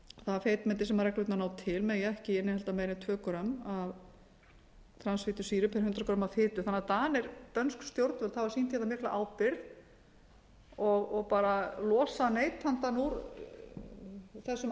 það feitmeti sem reglurnar ná til megi ekki innihalda meira en tvö grömm af transfitusýru pr hundrað grömm af fitu þannig að dönsk stjórnvöld hafa sýnt mikla ábyrgð og losa neytandann úr þessum